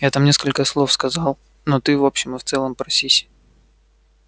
я там несколько слов сказал но ты в общем и целом просись